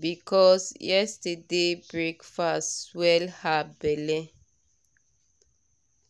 because yesterday breakfast swell her belle.